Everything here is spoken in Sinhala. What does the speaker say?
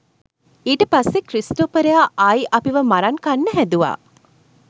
ඊට පස්සේ ක්‍රිස්ටොපරයා ආයි අපිව මරන් කන්නහැදුවා